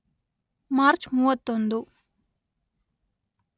March ಮೂವತ್ತೊಂದು